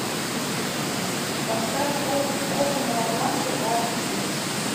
поставь копы новобранцы аш ди